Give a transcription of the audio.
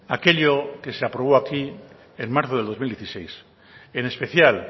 aquello que se aprobó aquí en marzo del dos mil dieciséis en especial